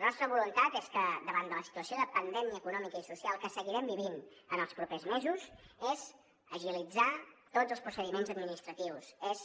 la nostra voluntat és davant de la situació de pandèmia econòmica i social que seguirem vivint en els propers mesos agilitzar tots els procediments administratius és